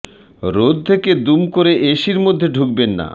রোদ থেকে দুম করে এসির মধ্যে ঢুকবেন না